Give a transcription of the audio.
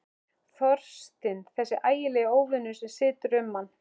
Þorstinn, þessi ægilegi óvinur sem situr um mann.